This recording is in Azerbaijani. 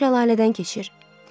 Yolumuz şəlalədən keçir.